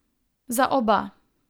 Za oba.